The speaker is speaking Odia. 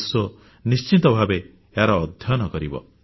ବିଶ୍ୱ ନିଶ୍ଚିତ ଭାବେ ଏହାର ଅଧ୍ୟୟନ କରିବ